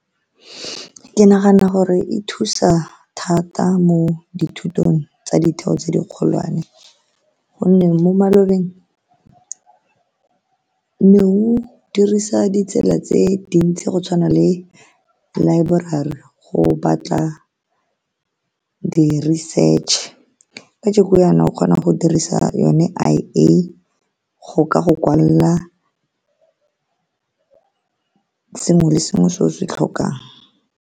Ke nagana gore e thusa thata mo dithutong tsa ditheo tse di kgolwane, ka gonne mo malobeng nne o dirisa ditsela tse dintsi, go tshwana le laeborari, o batla di-research-e. Kajeno o kgona go dirisa yone , go ka go kwalela sengwe le sengwe se o se tlhokang.